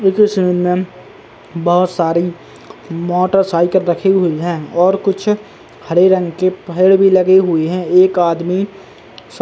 बोहोत सारी मोटरसाइकिल रखी हुई हैं और कुछ हरे रंग के पेड़ पर लगे हुए हैं। एक आदमी --